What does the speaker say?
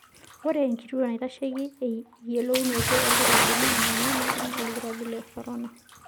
Ore enkituo naitesheki eyiolounoto olkirobi naa ninye naipim olkirobi le korona.